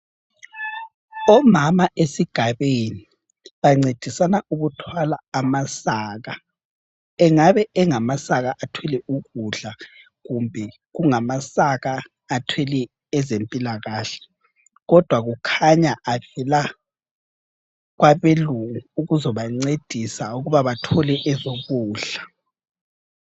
Omama esigabeni bancedisana ukuthwala amasaka. Angabe engamasaka athwele ukudla kumbe kungamasaka athwele ezempilakahle. Kodwa kukhanya avela kwabelungu ukuzobancedisa ukuba bathole ezokudla.